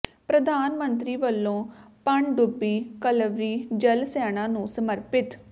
ਪ੍ਰਧਾਨ ਮੰਤਰੀ ਵਲੋਂ ਪਣਡੁੱਬੀ ਕਲਵਰੀ ਜਲ ਸੈਨਾ ਨੂੰ ਸਮਰਪਿਤ